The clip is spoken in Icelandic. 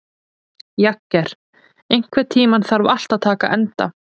Jagger, einhvern tímann þarf allt að taka enda.